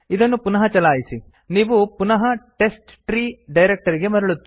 ಪುನಃ ಇದನ್ನು ಚಲಾಯಿಸಿ ನೀವು ಪುನಃ ಟೆಸ್ಟ್ಟ್ರೀ ಡೈರಕ್ತರಿಗೆ ಮರಳುತ್ತೀರಿ